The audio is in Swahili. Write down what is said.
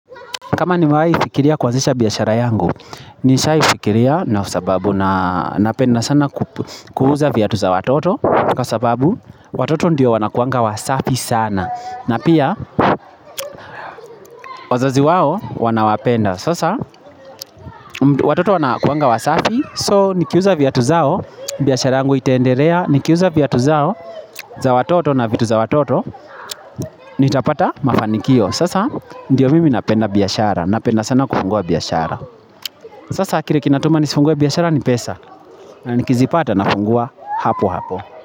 Kama nimewahi fikiria kuanzisha biashara yangu, nishai fikiria na sababu na napenda sana kuuza viatu za watoto Kwa sababu watoto ndio wanakuanga wasafi sana na pia, wazaziwao wanawapenda Sasa, watoto wanakuanga wasafi, so nikiuza viatu zao, biashara yangu itaendelea Nikiuza viatu zao, za watoto na vitu za watoto, nitapata mafanikio Sasa, ndio mimi napenda biashara, napenda sana kufungua biashara Sasa kile kinatuma nisifungue biashara ni pesa na nikizipata na funguwa hapo hapo.